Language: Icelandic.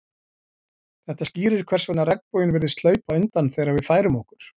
Þetta skýrir hvers vegna regnboginn virðist hlaupa undan þegar við færum okkur.